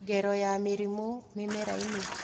Ngero ya mĩrimũ mĩmera-inĩ